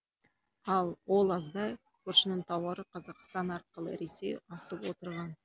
ал ол аздай көршінің тауары қазақстан арқылы ресей асып отырған